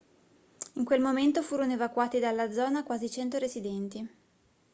in quel momento furono evacuati dalla zona quasi 100 residenti